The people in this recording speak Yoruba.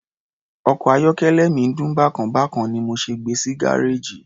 Ọkọ̀ ayọ́kẹ́lẹ́ mi ń dún bákan bákan ni mo ṣe gbe sí gárèjì.